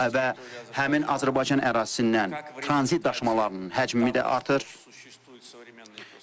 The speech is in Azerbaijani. Və həmin Azərbaycan ərazisindən tranzit daşımalarının həcmi də artır.